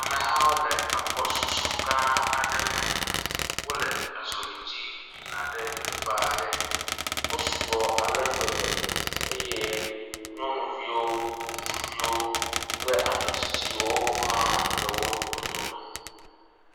Amehawo le agbɔsusu gã aɖe me, wole azɔli dzi yina teƒe aɖe, wosu gbɔ ale gbegbe eye nyɔnuviwo ŋutsuviwo kple ametsiotsiwo hã le wo dome.